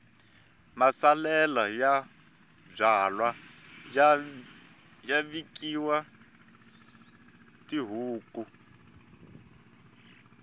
masalela ya byalwa ya nyikiwa tihuku